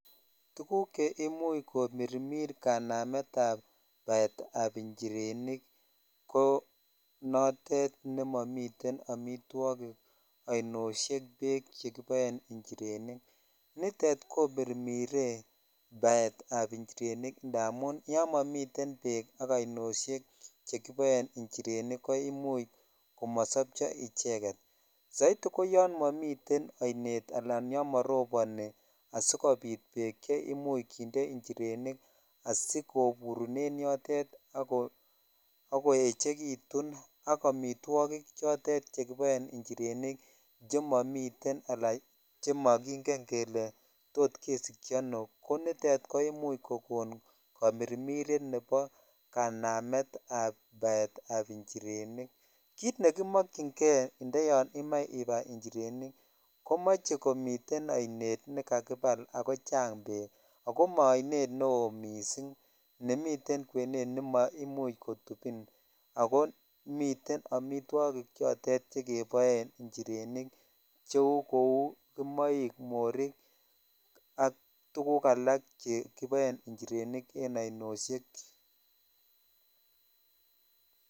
Tuguk che imuch komirmur kanamet ab baet ab njirenik ko note nemomi amitwokik ,ainoshek beek chekiboen njirenik nitet komirmire baet ab njirenik inamun yan momiten beek ak ainoshek chekiboen njirenik ko imuch komosopcho icheget soit ko yon momiten ainet ala yan moroboni asikopit beek che imuch kinde njirenik asikomuch koburu en yotet ak koechekitun ak ak amitwokik chotet che kiboen njirenik chemomiten ala chemokingen kele tot kesikyi ano ko nitet ko imuch kokon komirmiret nebo kanamet ab baet ab njirenik kit nekomojyin kei indayon imoche ibai njirenik komoche komiten ainet nekakibal ak komiten beek ak maa ainet nebo missing nemiten kwenet ne maimuch kotupin ako miten smitwokik chotet chekeboen njirenikchou kou kimoik ,morik ak tuguk alak chekiboen njirenik en ainoshek .